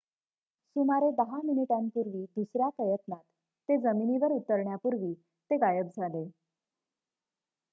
सुमारे 10 मिनिटांपूर्वी दुसऱ्या प्रयत्नात ते जमिनीवर उतरण्यापूर्वी ते गायब झाले